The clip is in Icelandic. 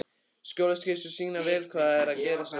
Skólaskýrslur sýna vel hvað er að gerast á þessum tíma.